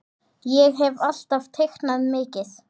Ég hef alltaf teiknað mikið.